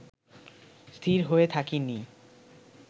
স্থির হয়ে থাকেনি